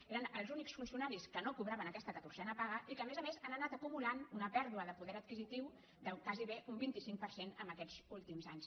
eren els únics funcionaris que no cobraven aquesta catorzena paga i que a més a més han anat acumulant una pèr·dua de poder adquisitiu de gairebé un vint cinc per cent en aquests últims anys